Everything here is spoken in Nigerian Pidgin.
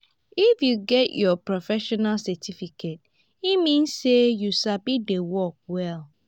if you get your professional certificate e mean sey you sabi di work well.